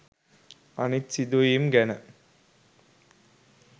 අනිත් සිදු වීම් ගැන